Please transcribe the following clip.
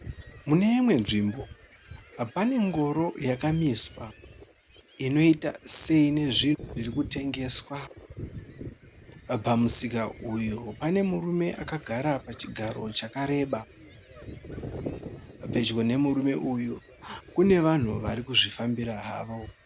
Mune imwe nzvimbo pane ngoro yakamiswa. Inoita seine zvinhu zvirikutengeswa. Pamusika uyu pane murume akagara pachigaro chakareba. Pedyo nemurume uyu kune vanhu varikuzvifambira havo.